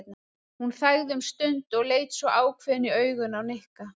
Hún þagði um stund og leit svo ákveðin í augun á Nikka.